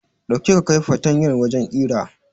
Dauki ka kai fatanyar wajen ƙira